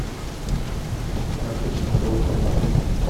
карточный долг найти